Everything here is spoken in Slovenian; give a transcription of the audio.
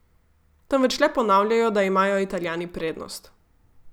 Temveč le ponavljajo, da imajo Italijani prednost.